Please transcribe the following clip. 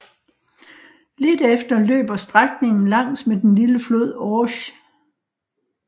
Lidt efter løber strækningen langs med den lille flod Orge